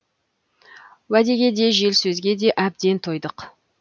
уәдеге де жел сөзге де әбден тойдық